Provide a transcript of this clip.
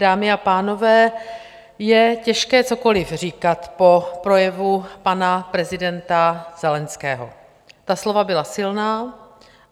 Dámy a pánové, je těžké cokoliv říkat po projevu pana prezidenta Zelenského, ta slova byla silná.